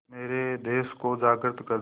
मेरे देश को जागृत कर दें